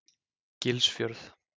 Gilsfjörð